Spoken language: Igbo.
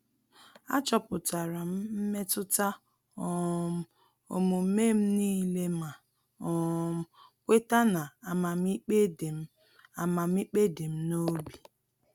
Achọpụtara m mmetụta um omume m nile ma um kweta na amamikpe di m amamikpe di m n'obi